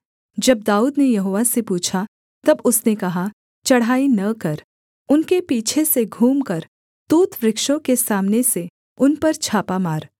जब दाऊद ने यहोवा से पूछा तब उसने कहा चढ़ाई न कर उनके पीछे से घूमकर तूत वृक्षों के सामने से उन पर छापा मार